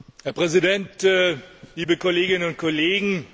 Herr Präsident, liebe Kolleginnen und Kollegen!